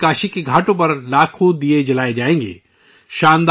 اس بار بھی کاشی کے گھاٹوں پر لاکھوں چراغ جلیں گے